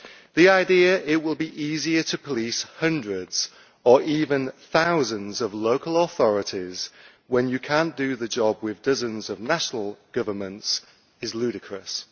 The idea that it will be easier to police hundreds or even thousands of local authorities when you cannot do the job with dozens of national governments is ludicrous.